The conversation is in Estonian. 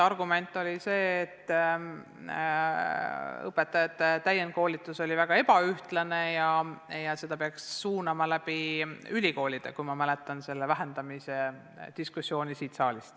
Argument oli see, et õpetajate täienduskoolitus oli väga ebaühtlane ja seda peaks suunama läbi ülikoolide – nii palju kui ma mäletan selle vähendamise diskussiooni siin saalis.